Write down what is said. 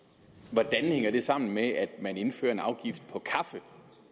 hvordan hænger det sammen med at man indfører en afgift på kaffe